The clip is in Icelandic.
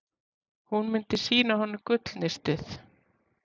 Hún myndi sýna honum gullnistið.